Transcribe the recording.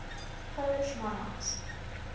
polish monarchs